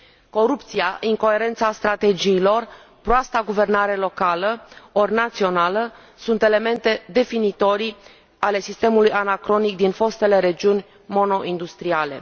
Corupția, incoerența strategiilor, proasta guvernare locală ori națională sunt elemente definitorii ale sistemului anacronic din fostele regiuni monoindustriale.